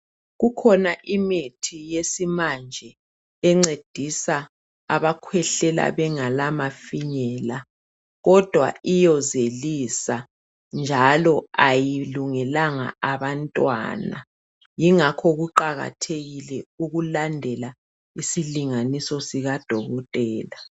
Kukhona imithi yesimanje encedisa abakhwehlela bengela mafinyela, kodwa iyozelisa njalo ayilungelanga abantwana. Ngingakho kuqakathekile ukulandela isilinganiso sikadokotela.